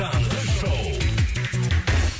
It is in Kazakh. таңғы шоу